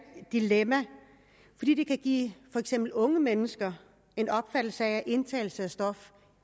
dilemma fordi det kan give for eksempel unge mennesker en opfattelse af at indtagelse af stoffer